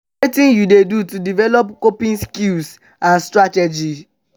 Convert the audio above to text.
wetin you dey do to develop coping skills and strategies?